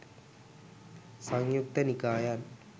සංයුක්ත නිකායන්